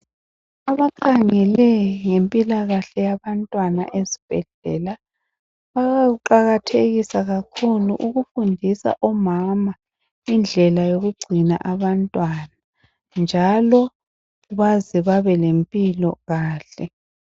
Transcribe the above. Abakhangele ngempilakahle yabantwana ezibhedlela bayakuqakathekisa kakhulu ukufundisa omama indlela yokugcina abantwana njalo baze babelempilo kahle.